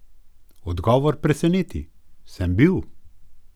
Odgovor preseneti: "Sem bil.